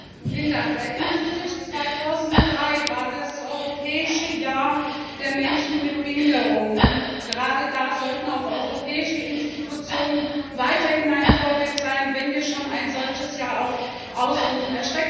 Frau Präsidentin! Erinnern Sie sich? 2003 war das Europäische Jahr der Menschen mit Behinderungen. Gerade da sollten auch europäische Institutionen weiterhin ein Vorbild sein, wenn wir schon ein solches Jahr ausrufen.